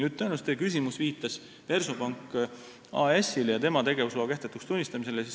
Tõenäoliselt teie küsimus viitas Versobank AS-ile ja tema tegevusloa kehtetuks tunnistamisele.